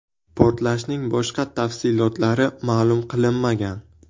Portlashning boshqa tafsilotlari ma’lum qilinmagan.